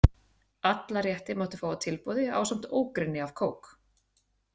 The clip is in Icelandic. Alla rétti mátti fá á tilboði ásamt ógrynni af kók.